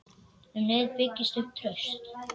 Um leið byggist upp traust.